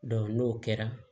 n'o kɛra